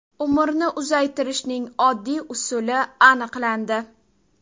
Umrni uzaytirishning oddiy usuli aniqlandi.